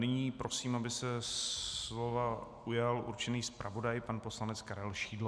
Nyní prosím, aby se slova ujal určený zpravodaj pan poslanec Karel Šidlo.